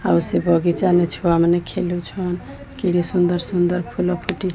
ଆଉ ସେ ବଗିଚାନେ ଛୁଆମାନେ ଖେଲୁଛନ୍ କେଡେ ସୁନ୍ଦର ସୁନ୍ଦର ଫୁଲ ଫୁଟି --